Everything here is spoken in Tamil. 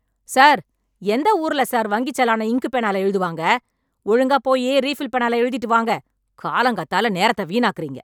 சார், எந்த ஊருல சார் வங்கிச் சலான இங்க்கு பேனால எழுதுவாங்க?! ஒழுங்கா போயி ரீஃபில் பேனால எழுதிட்டு வாங்க. காலங்காத்தால நேரத்த வீணாக்குறீங்க!